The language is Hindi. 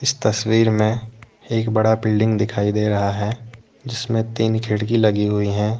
तस्वीर में एक बड़ा बिल्डिंग दिखाई दे रहा है जिसमें तीन खिड़की लगी हुई है।